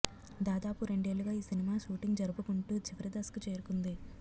దాదాపు రెండేళ్లు గా ఈ సినిమా షూటింగ్ జరుపుకుంటూ చివరి దశకు చేరుకుంది